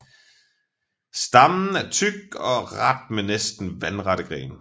Stammen er tyk og ret med næsten vandrette grene